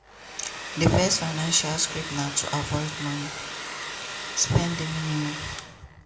di first financial script na to avoid money (spend di minimum).